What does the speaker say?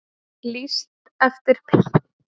Lýst eftir pilti